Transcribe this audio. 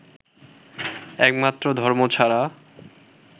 একমাত্র ধর্ম ছাড়া